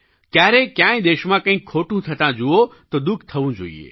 ક્યારેય ક્યાંય દેશમાં કંઈક ખોટું થતા જુઓ તો દુઃખ થવું જોઈએ